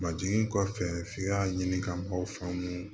Ba jiginni kɔfɛ f'i ka ɲini ka maw faamu